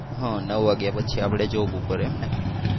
હા નવ વાગ્યા પછી આપડે job ઉપર એમ ને